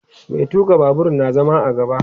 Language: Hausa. Mai tuka Babur na zama a gaba